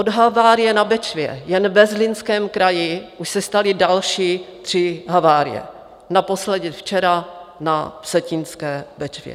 Od havárie na Bečvě jen ve Zlínském kraji už se staly další tři havárie, naposledy včera na Vsetínské Bečvě.